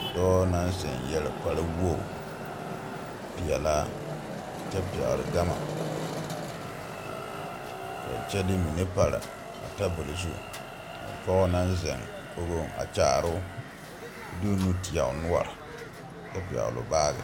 Dɔɔ naŋ ziŋ yɛre kpare wogi peɛlaa kyɛ pɛgli gama kyɛ de mine pare a tabol zu pɔge naŋ ziŋ kogoŋ a kyaaroo de o nu teɛ o noɔri kyɛ pɛgli o baagi.